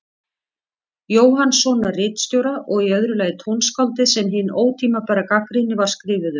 Jóhannssonar ritstjóra, og í öðru lagi tónskáldið sem hin ótímabæra gagnrýni var skrifuð um.